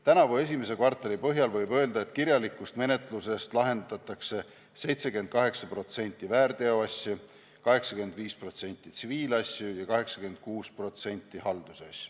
Tänavuse esimese kvartali põhjal võib öelda, et kirjalikus menetluses lahendatakse 78% väärteoasju, 85% tsiviilasju ja 86% haldusasju.